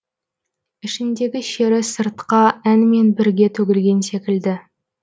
ішіндігі шері сыртқа әнмен бірге төгілген секілді